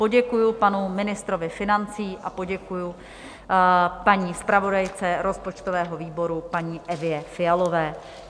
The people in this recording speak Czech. Poděkuji panu ministrovi financí a poděkuji paní zpravodajce rozpočtového výboru, paní Evě Fialové.